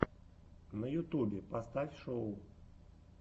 на ютубе поставь шоу